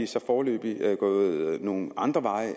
så foreløbig gået nogle andre veje